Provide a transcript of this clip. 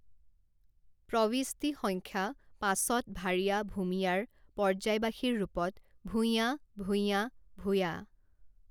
প্ৰৱিষ্টি সংখ্যা পাঁচত ভাৰিয়া ভূমিয়াৰ পৰ্যায়বাসীৰ ৰূপত ভূইঁয়া, ভূইয়াঁ, ভূয়াঁ